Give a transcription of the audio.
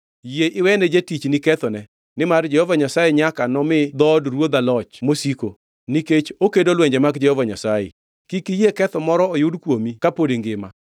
“Yie iwene jatichni kethone, nimar Jehova Nyasaye nyaka nomi dhood ruodha loch mosiko, nikech okedo lwenje mag Jehova Nyasaye. Kik iyie ketho moro oyud kuomi kapod ingima.